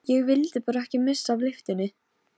Hann rak upp stór augu, hvaða brandari var þetta?